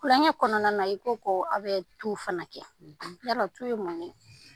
Kulonkɛ kɔnɔna na, i ko ko aw bɛ tu fana kɛ . Yala tu ye mun ye ?